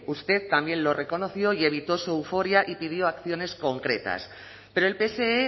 usted también lo reconoció y evitó su euforia y pidió acciones concretas pero el pse